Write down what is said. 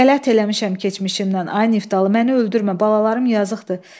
Qələt eləmişəm keçmişimdən, ay Niftalı, məni öldürmə, balalarım yazıqdır.